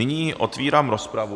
Nyní otvírám rozpravu.